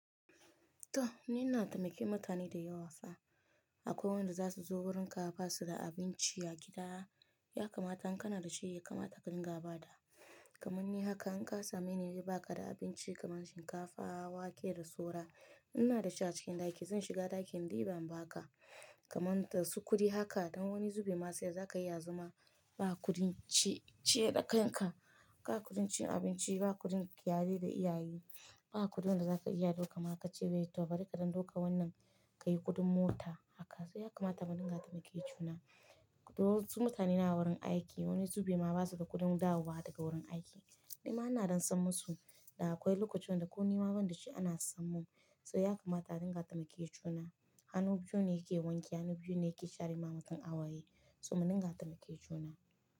To ni ina taimake mutane da yawa fa. Akwai wanda za su zo wurin ka ba su da abinci a gida, ya kamata in kana da shi ya kamata ka dinga ba da. Kamanni haka in ka same wani wai ba ka da abinci kamar shinkafa, wake da saura. Inna da shi a cikin ɗaki, zan shiga ɗakin diban ba ka. Kaman dasu kuɗi haka don wani zube ma sai da za ka iya zama ba kuɗi ciye da kai ka. Ba kuɗin cin abinci, ba kuɗin kiyaye da iyaye. Ba kuɗin da za ka iya ɗauka ma ka ce bai to bari kaɗan ɗauka wannan ka yi kuɗin mota haka. Sai ya kamata mun dinga taimake juna. To wasu mutane suna wurin aiki, wani zube ma ba su da kuɗin dawowa daga wurin aiki. Ni ma ina don san musu da akwai lokutan da ko ni ma banda shi ana san mun. Sai ya kamata mun dinga taimake juna. Hannu biyu ne ke wanke, hannu biyu ne ke share mamacin a waye. To mun dinga taimake juna.